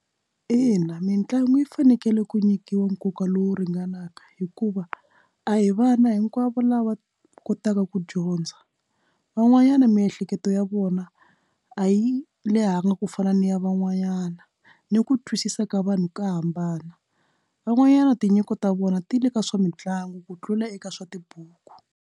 Ina mitlangu yi fanekele ku nyikiwa nkoka lowu ringanaka hikuva a hi vana hinkwavo lava kotaka ku dyondza van'wanyana miehleketo ya vona a yi lehangi ku fana ni ya van'wanyana ni ku twisisa ka vanhu ka hambana van'wanyana tinyiko ta vona ti le ka swa mitlangu ku tlula eka swa tibuku.